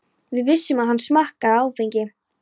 Við vissum að hann smakkaði áfengi.